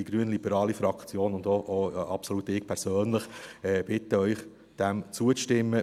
Die grünliberale Fraktion und auch absolut ich persönlich bitten Sie, dem zuzustimmen.